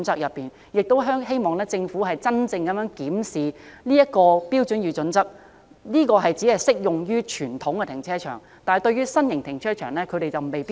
所以，希望政府檢視《香港規劃標準與準則》的準則是否只適用於傳統停車場，未必適用於新型停車場。